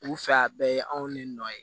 U fɛ a bɛɛ ye anw de nɔ ye